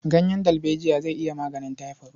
Ganyen dalbejiya zai iya maganin taifod.